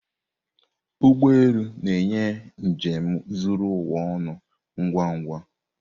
Ụgbọ elu na-enye njem zuru ụwa ọnụ ngwa ngwa.